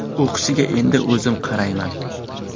O‘qishiga endi o‘zim qarayman.